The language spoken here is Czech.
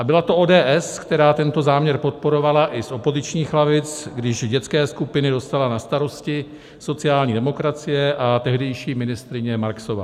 A byla to ODS, která teto záměr podporovala i z opozičních lavic, když dětské skupiny dostala na starost sociální demokracie a tehdejší ministryně Marksová.